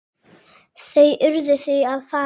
Þau urðu því að fara.